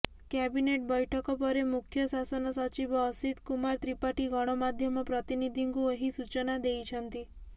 cabinet ବୈଠକ ପରେ ମୁଖ୍ୟଶାସନ ସଚିବ ଅସିତ୍ କୁମାର ତ୍ରିପାଠୀ ଗଣମାଧ୍ୟମ ପ୍ରତିନିଧିଙ୍କୁ ଏହି ସୂଚନା ଦେଇଛନ୍ତି